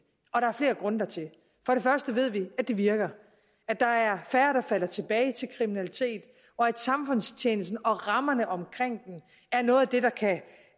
og der er flere grunde dertil vi ved at det virker at der er færre der falder tilbage til kriminalitet og at samfundstjenesten og rammerne omkring den er noget